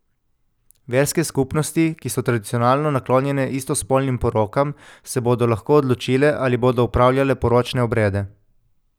Verske skupnosti, ki so tradicionalno naklonjene istospolnim porokam, se bodo lahko odločile, ali bodo opravljale poročne obrede.